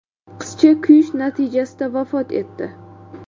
Qizcha kuyish natijasida vafot etdi.